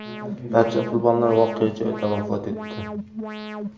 Barcha qurbonlar voqea joyida vafot etdi.